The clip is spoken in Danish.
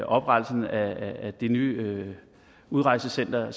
oprettelsen af det nye udrejsecenter